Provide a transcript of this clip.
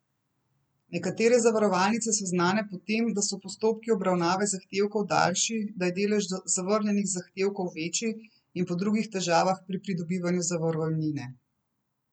Nekatere zavarovalnice so znane po tem, da so postopki obravnave zahtevkov daljši, da je delež zavrnjenih zahtevkov večji in po drugih težavah pri pridobivanju zavarovalnine.